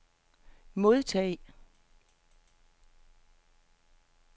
modtag